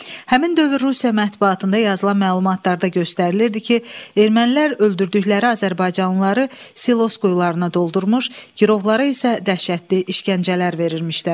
Həmin dövr Rusiya mətbuatında yazılan məlumatlarda göstərilirdi ki, ermənilər öldürdükləri azərbaycanlıları silos quyularına doldurmuş, girovlara isə dəhşətli işgəncələr verirmişlər.